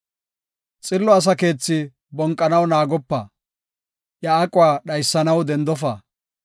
Xillo asa keethi bonqanaw naagopa; iya aquwa dhaysanaw dendofa.